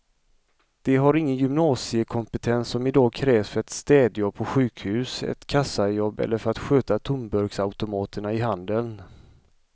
De har ingen gymnasiekompetens som i dag krävs för ett städjobb på sjukhus, ett kassajobb eller för att sköta tomburksautomaterna i handeln.